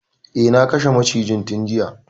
Eh, na kashe macijin tun juya.